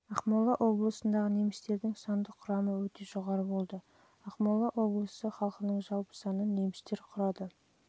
ақмола облысындағы немістердің сандық құрамы өте жоғары болды ақмола облысы халқының жалпы санының немістер құрады немістердің